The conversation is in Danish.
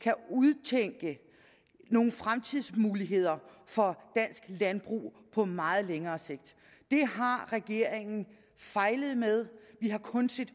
kan udtænke nogle fremtidsmuligheder for dansk landbrug på meget længere sigt det har regeringen fejlet med vi har kun set